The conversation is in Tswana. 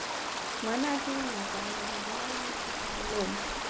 ngwanaka ngakane re bolaile tsupamolomo